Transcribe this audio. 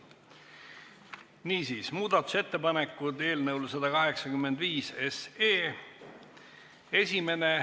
Niisiis, muudatusettepanekud eelnõu 185 kohta.